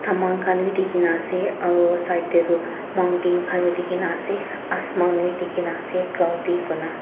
mon khan bi dikhi na ase aru side teh tu mountain khan bhi dikhi na ase asman bhi dikhi na ase cloudy koina.